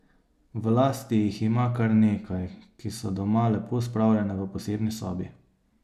V lasti jih ima kar nekaj, ki so doma lepo spravljene v posebni sobi.